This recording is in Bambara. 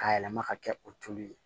Ka yɛlɛma ka kɛ o tulu ye